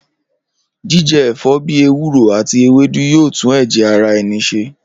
Jíje̩ è̩fó̩ bí ewúro àti ewédú yóò tún è̩jè̩ ara e̩ni s̩e